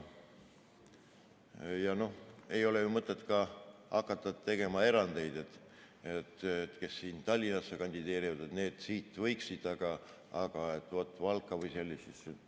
No ei ole ju mõtet hakata tegema ka erandeid, et kes Tallinnas kandideerida võiks, aga Valgas mitte.